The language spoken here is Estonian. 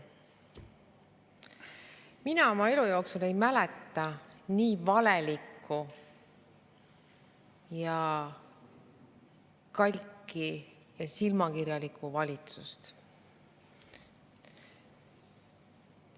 Mina oma elu jooksul ei mäleta nii valelikku, kalki ja silmakirjalikku valitsust.